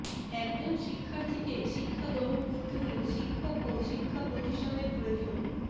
একজন শিক্ষার্থীকে শিক্ষা গ্রহণ করতে হলে শিক্ষক ও শিক্ষা প্রতিষ্ঠানের প্রয়োজন